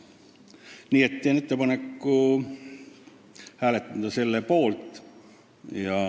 Nii et teen ettepaneku hääletada selle poolt.